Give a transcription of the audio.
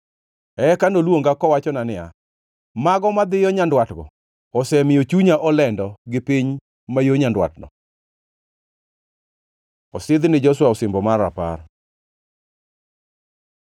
Eka noluonga kowachona niya, “Mago madhiyo nyandwatgo osemiyo chunya olendo gi piny ma yo nyandwatno.” Osidh ni Joshua osimbo mar rapar